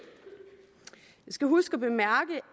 skal huske